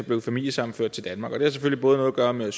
blev familiesammenført til danmark og det har selvfølgelig noget at gøre med